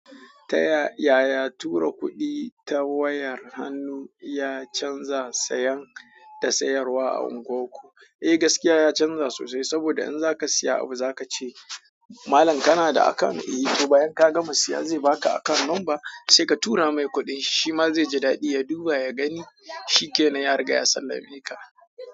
Taya yaya tura kuɗi ta wayar hannu ya canza sayan da sayarwa a unguwar ku? Eh gaskiya ya canza sosai saboda in za ka siya abu za ka ce malan kana da account. Eh. To bayan ka gama siya zai baka account number sai ka tura mai kuɗin shi. Shima zai ji daɗi ya duba ya gani shikenan ya riga ya sallame ka.